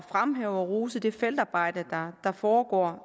fremhæve og rose det feltarbejde der foregår